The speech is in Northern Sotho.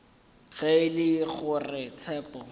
ge e le gore tshepo